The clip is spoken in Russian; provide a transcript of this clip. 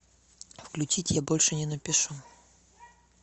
включить я больше не напишу